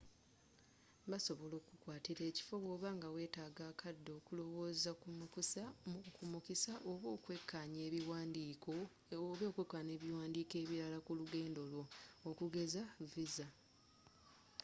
basobola okukukwatira ekifo bwoba nga weetaaga akadde okulowooza ku mukisa oba okwekkaanya ebiwandiiko ebirala ku lugendo lwo okugeza . visa